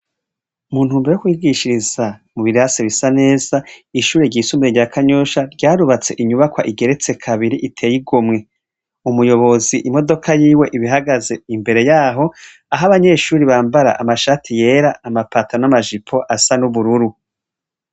Mu ntumbero yo kwigishiriza mu birase bisa neza, ishure ry'isumbuye rya Kanyosha ryarubatse inyubakwa igeretse kabiri iteye igomwe. Umuyobozi imodoka yiwe iba ihagaze imbere yaho, aho abanyeshure bambara amashati yera, amapataro n'amajipo asa n'ubururu.